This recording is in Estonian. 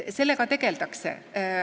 Sellega tegeldakse.